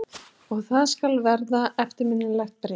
Og það skal verða eftirminnilegt bréf.